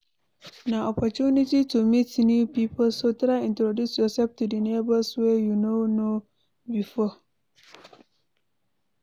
Na opportunity to meet new pipo so try introduce yourself to di neighbors wey you no know before